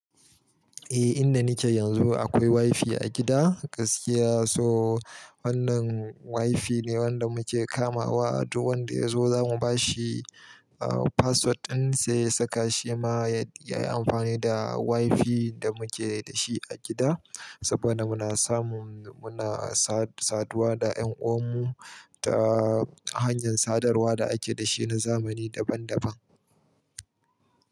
Eh, inda nike yanzu akwai WiFi a gida gaskiya, so wannan WiFi ne wanda muke kamawa duk wanda ya zo zamu bashi aaa password ɗin sai ya saka shi ma yayi amfani da WiFi da muke da shi a gida. Saboda muna samu muna sad-saduwa da ƴan uwan mu ta hanyar sadarwa da ake da shi na zamani daban daban.